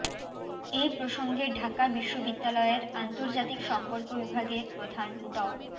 এ প্রসঙ্গে ঢাকা বিশ্ববিদ্যালয়ের আন্তর্জাতিক সম্পর্ক বিভাগের প্রধান ড